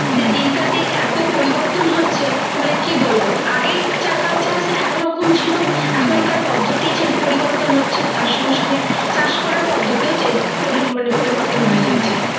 যে দিনকার দিন এত পরিবর্তন হচ্ছে মানে কি বলবো আগে যা চাষ একরকম ছিল এখনকার পদ্ধতি পড়ি বর্তন হচ্ছে তার সঙ্গে সঙ্গে চাষ কারার পদ্ধতি মানে পরিবর্তন হয়ে যাচ্ছে।